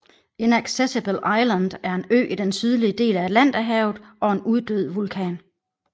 Inaccessible Island er en ø i den sydlige del af Atlanterhavet og en uddød vulkan